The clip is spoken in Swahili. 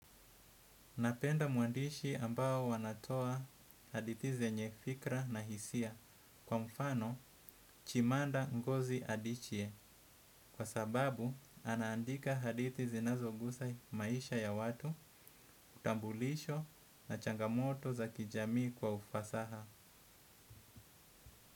Napenda waandishi ambao wanatoa hadithi zenye fikra na hisia kwa mfano chimanda ngozi adichie kwa sababu anaandika hadithi zinazo gusa maisha ya watu, utambulisho na changamoto za kijamii kwa ufasaha.